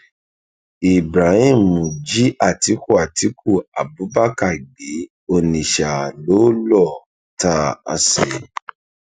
ibrahim jí àtiku àtiku abubakar gbé onitsha lọ lọọ ta á sí